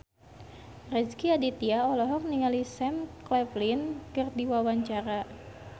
Rezky Aditya olohok ningali Sam Claflin keur diwawancara